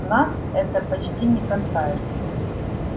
нас это почти не касается